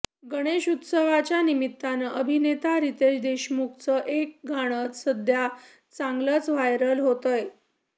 गणेशोत्सवाच्या निमित्तानं अभिनेता रितेश देशमुखचं एक गाणं सध्या चांगलचं व्हायरल होतंय